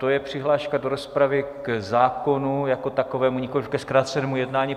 To je přihláška do rozpravy k zákonu jako takovému, nikoli ke zkrácenému jednání?